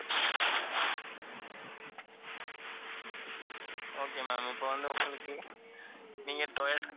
okay ma'am இப்ப வந்து உங்களுக்கு, நீங்க டொயாட்டோ